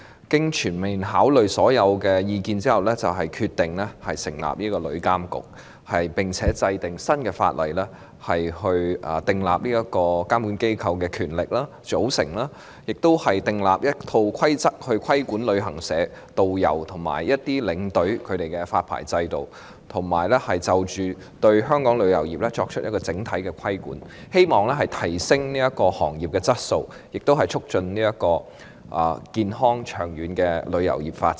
經全面考慮所有意見後，政府決定成立旅監局，並且制定新法例，規定監管機構的權力、組成，亦訂立了一套規則來規管旅行社、導遊及領隊的發牌制度，以及對香港旅遊業作出整體規管，希望提升行業的質素、促進旅遊業的健康及長遠發展。